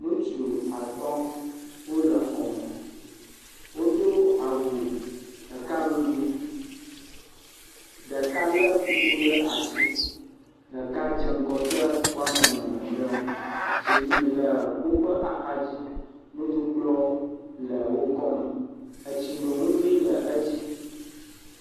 Ŋutsu atɔ̃ wole xɔ me, wodo awu ɖeka ŋugbii, ɖeka lé kuku ɖe asi, ɖeka dze ŋgɔ de woame ene mamleawo, zikpui le woƒe axadzi, nuɖukplɔ le wo kɔ me, etsinonugoe le edzi.